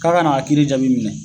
K'a ka n'a kiiri jaabi minɛ.